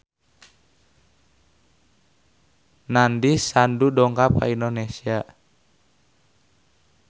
Nandish Sandhu dongkap ka Indonesia